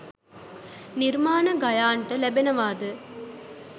නිර්මාණ ගයාන්ට ලැබෙනවාද?